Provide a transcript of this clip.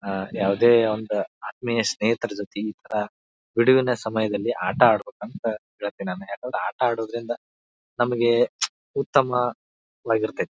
ಯಾವುದೇ ಒಂದು ಆತ್ಹ್ಮಿಯ ಸ್ನೇಹಿತರ ಜೊತೆ ಬಿಡುವಿನ ಸಮಯದಲ್ಲಿ ಆಟ ಆಡಬೇಕಂತ ನಾನ್ ಹೆಲ್ತಹಿನಿ ಆಟ ಆಡೋದ್ರಿಂದ ನಮಗೆ ಉತ್ತಮ ವಾಗಿರುತ್ತೆ.